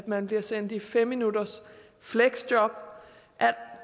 man bliver sendt i fem minutters fleksjob